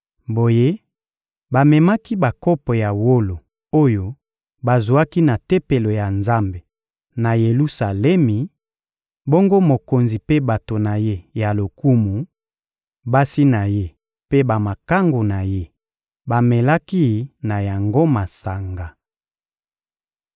Boye, bamemaki bakopo ya wolo oyo bazwaki na Tempelo ya Nzambe, na Yelusalemi; bongo mokonzi mpe bato na ye ya lokumu, basi na ye mpe bamakangu na ye bamelaki na yango masanga.